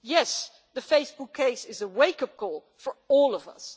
Yes, the Facebook case is a wake up call for all of us.